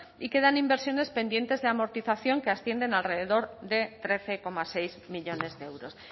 y quedan inversiones pendientes de amortización que ascienden alrededor de trece coma seis millónes de euros